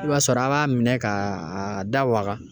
I b'a sɔrɔ an b'a minɛ ka da waga